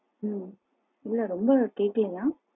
உம் இல்ல ரெம்ப கேக்கலையா?